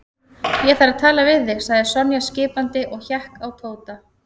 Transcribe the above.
Ég þarf að tala við þig sagði Sonja skipandi og hékk á Tóta.